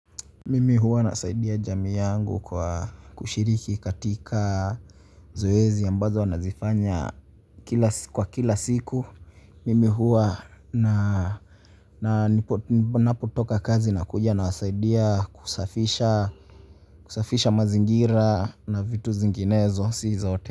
Mimi huwa nasaidia jamii yangu kwa kushiriki katika zoezi ambazo wanazifanya kwa kila siku. Mimi huwa na ninapotoka kazi nakuja nawasaidia kusafisha mazingira na vitu zinginezo, si zote.